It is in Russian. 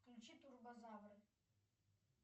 включи турбозавры